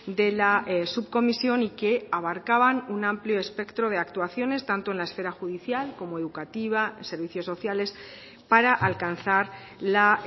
de la subcomisión y que abarcaban un amplio espectro de actuaciones tanto en la esfera judicial como educativa servicios sociales para alcanzar la